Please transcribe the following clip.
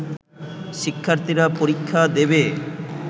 শিক্ষার্থীরা পরীক্ষা দেবে